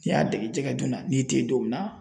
N'i y'a dege jɛgɛ donna n'i te yen don min na